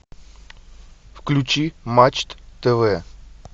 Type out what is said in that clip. включи матч тв